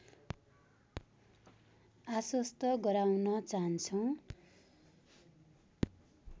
आश्वस्त गराउन चाहन्छौँ